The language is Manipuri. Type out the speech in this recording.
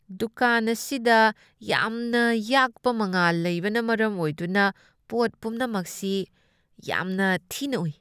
ꯗꯨꯀꯥꯟ ꯑꯁꯤꯗ ꯌꯥꯝꯅ ꯌꯥꯛꯄ ꯃꯩꯉꯥꯜ ꯂꯩꯕꯅ ꯃꯔꯝ ꯑꯣꯏꯗꯨꯅ ꯄꯣꯠ ꯄꯨꯝꯅꯃꯛꯁꯤ ꯌꯥꯝꯅ ꯊꯤꯅ ꯎꯏ꯫